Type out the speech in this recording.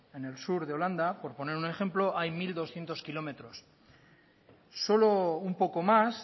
en el sur de holanda por poner un ejemplo hay mil doscientos kilómetros solo un poco más